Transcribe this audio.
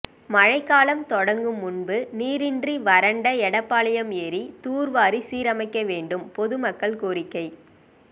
மழைக்காலம் தொடங்கும் முன்பு நீரின்றி வறண்ட எடப்பாளையம் ஏரி தூர்வாரி சீரமைக்க வேண்டும் பொதுமக்கள் கோரிக்கை